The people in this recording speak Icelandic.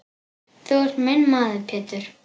Þú ert minn maður Pétur.